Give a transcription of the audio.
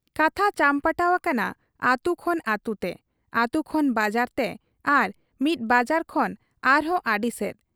ᱠᱟᱛᱷᱟ ᱪᱟᱢᱯᱟᱴᱟᱣ ᱟᱠᱟᱱᱟ ᱟᱹᱛᱩ ᱠᱷᱚᱱ ᱟᱹᱛᱩᱛᱮ, ᱟᱹᱛᱩ ᱠᱷᱚᱱ ᱵᱟᱡᱟᱨᱛᱮ ᱟᱨ ᱢᱤᱫ ᱵᱟᱡᱟᱨ ᱠᱷᱚᱱ ᱟᱨᱦᱚᱸ ᱟᱹᱰᱤᱥᱮᱫ ᱾